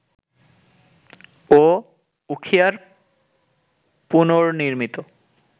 ও উখিয়ার পুনর্নির্মিত